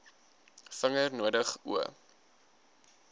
vinger nodig o